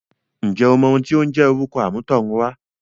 ǹjẹ́ o mọ ohùn ti ó ń jẹ́ orúkọ àmútọ̀runwá?